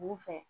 U fɛ